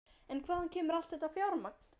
En hvaðan kemur allt þetta fjármagn?